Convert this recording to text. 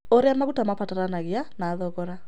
Ũrĩa maguta mabataranagia na thogora